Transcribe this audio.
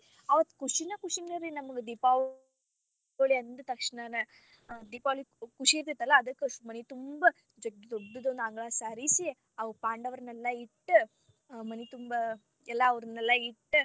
ಅವತ್ತ ಕುಷಿನ ಖುಷಿ ರೀ ನಮಗ ದೀಪಾವಳಿ ಅಂದ ತಕ್ಷಣಾನ ದೀಪಾವಳಿ ಖುಷಿ ಇರತೇತಲ್ಲಾ ಅದಕ್ಕ ಮನಿ ತುಂಬಾ ಅಂಗಳ ಸಾರಿಸಿ, ಅವ ಪಾಂಡವರನ್ನೆಲ್ಲಾ ಇಟ್ಟ್ ಮನಿ ತುಂಬಾ ಎಲ್ಲಾ ಅವ್ನೆಲ್ಲಾ ಇಟ್ಟ.